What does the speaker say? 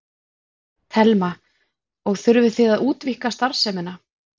Telma: Og þurfið þið að útvíkka starfsemina?